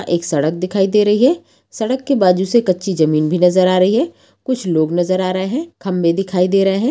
एक सड़क दिखाई दे रही है सड़क के बाजू से कच्ची जमीन भी नजर आ रही है कुछ लोग नजर आ रहे हैं खम्बे दिखाई दे रहे हैं।